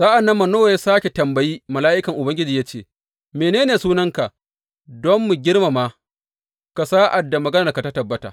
Sa’an nan Manowa ya sāke tambayi mala’ikan Ubangiji ya ce, Mene ne sunanka, don mu girmama ka sa’ad da maganarka ta tabbata.